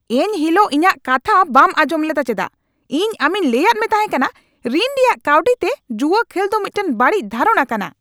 ᱮᱱ ᱦᱤᱞᱚᱜ ᱤᱧᱟᱜ ᱠᱟᱛᱷᱟ ᱵᱟᱢ ᱟᱸᱡᱚᱢ ᱞᱮᱫᱟ ᱪᱮᱫᱟᱜ ? ᱤᱧ ᱟᱢᱤᱧ ᱞᱟᱹᱭᱟᱫ ᱢᱮ ᱛᱟᱦᱮᱸᱠᱟᱱᱟ ᱨᱤᱱ ᱨᱮᱭᱟᱜ ᱠᱟᱹᱣᱰᱤᱛᱮ ᱡᱩᱣᱟᱹ ᱠᱷᱮᱞ ᱫᱚ ᱢᱤᱫᱴᱟᱝ ᱵᱟᱹᱲᱤᱡ ᱫᱷᱟᱨᱚᱱᱟ ᱠᱟᱱᱟ ᱾